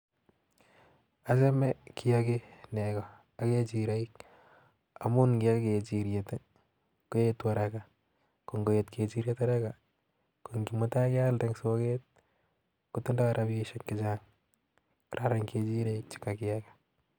Achomei kiiyakii nego ak kechiroik amii nkii yakii kechiroik Koo etuu araka ak koet kechiroik araka ko mutai ngealnde eng soket ko tindoi rabishek che Chang kararan kechirek chee kakiibai